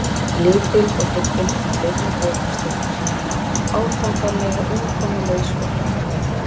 Lítil og þybbin, í bleikum bol og stuttbuxum, átakanlega umkomulaus og hjálparvana.